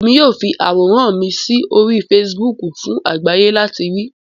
Emi yoo fi aworan mi sori Fèsìbúukù fun agbaye lati rii